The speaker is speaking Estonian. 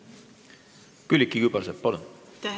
Külliki Kübarsepp, palun!